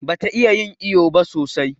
Bata iya yin iƴo ba sosai.